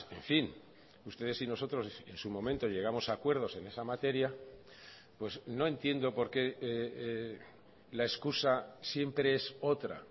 en fin ustedes y nosotros en su momento llegamos a acuerdos en esa materia pues no entiendo porqué la excusa siempre es otra